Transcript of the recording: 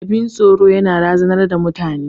Abin tsoro yana razanar da mutane.